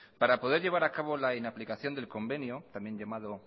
para poder llevar a cabo la inaplicación del convenio también llamado